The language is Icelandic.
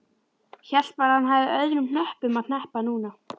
Hélt bara að hann hefði öðrum hnöppum að hneppa núna.